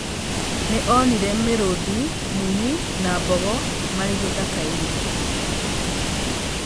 Nĩ onire mĩrũũthi, mũnyi na mbogo marĩ gĩthaka-inĩ.